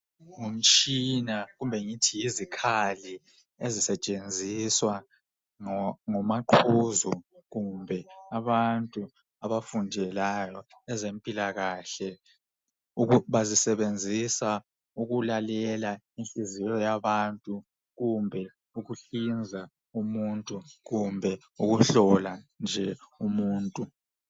Ngumtshina kumbe ngithi yizikhali ezisetshenziswa ngomaqhuzu kumbe abantu abafundelayo ezempilakahle. Bazisebenzisa ukulalela inhliziyo yabantu kumbe ukuhlinza umuntu kumbe ukuhlola nje umuntu.